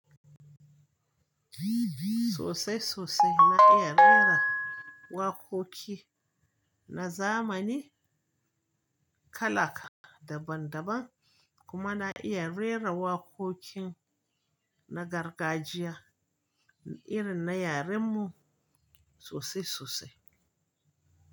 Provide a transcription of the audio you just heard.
Sosai sosai na iya rera wakoki na zamani, kalaka daban daban kuma na iya rera wakokin na gargajiya irin na yaren mu sosai sosai.